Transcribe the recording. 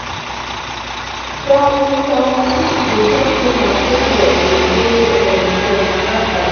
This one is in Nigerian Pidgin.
some some people dey chop too much when dem um dey um stressed na bad habit